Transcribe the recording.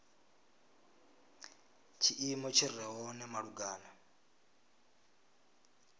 tshiimo tshi re hone malugana